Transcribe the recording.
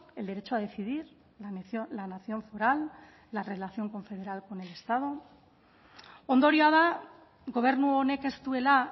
el derecho a decidir la nación foral la relación confederal con el estado ondorioa da gobernu honek ez duela